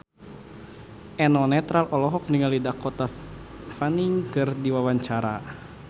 Eno Netral olohok ningali Dakota Fanning keur diwawancara